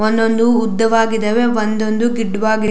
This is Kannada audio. ಒಂದು ಒಂದು ಉದ್ದವಾಗಿದವೇ ಒಂದು ಒಂದು ಗಿಡ್ಡವಾಗಿ.